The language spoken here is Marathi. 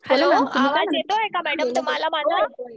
हॅलो आवाज येतोय का मॅडम तुम्हाला माझा?